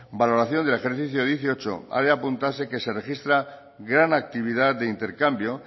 valoración del ejercicio dieciocho ha de apuntarse que se registra gran actividad de intercambio